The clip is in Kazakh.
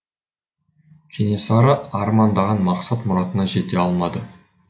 кенесары армандаған мақсат мұратына жете алмады